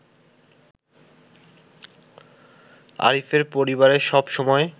আরিফের পরিবারে সব সময়